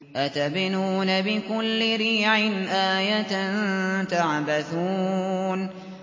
أَتَبْنُونَ بِكُلِّ رِيعٍ آيَةً تَعْبَثُونَ